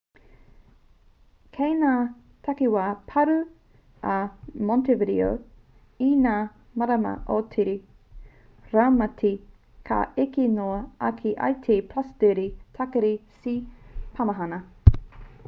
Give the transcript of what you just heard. kei ngā takiwā pārū a montevideo i ngā marama o te raumati ka eke noa ake i te +30 tākiri c te pāmahana